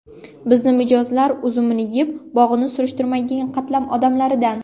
Bizni mijozlar uzumini yeb, bog‘ini surishtirmaydigan qatlam odamlardan.